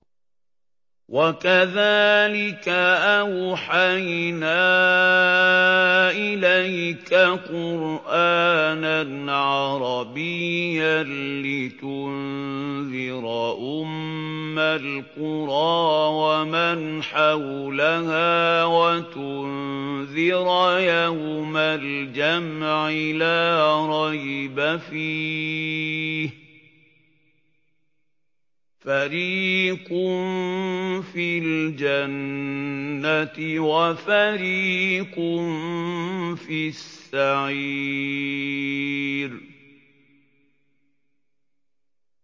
وَكَذَٰلِكَ أَوْحَيْنَا إِلَيْكَ قُرْآنًا عَرَبِيًّا لِّتُنذِرَ أُمَّ الْقُرَىٰ وَمَنْ حَوْلَهَا وَتُنذِرَ يَوْمَ الْجَمْعِ لَا رَيْبَ فِيهِ ۚ فَرِيقٌ فِي الْجَنَّةِ وَفَرِيقٌ فِي السَّعِيرِ